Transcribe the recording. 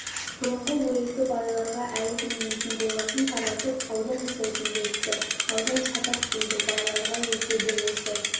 бұрынғы уезді байларға әлі келмейтін болғасын таратып аудан жасайтын болыпты аудан шатақ дейді байларға жетеді осы